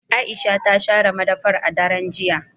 Aisha ta share madafar a daren jiya.